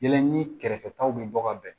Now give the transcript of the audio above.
Yɛlɛ ni kɛrɛfɛ taw bɛ bɔ ka bɛn